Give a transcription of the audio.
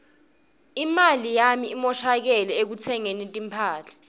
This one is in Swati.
imali yami imoshakele ekutsengeni timphahla